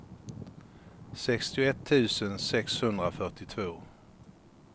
sextioett tusen sexhundrafyrtiotvå